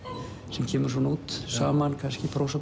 sem kemur svona út saman kannski